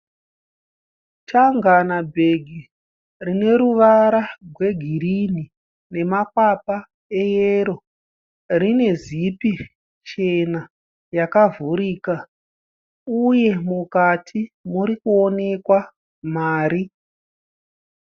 Changana bhegi rine ruvara rwegirini nemakwapa eyero. Rine zipi chena yakavhurika uye mukati muri kuonekwa mari.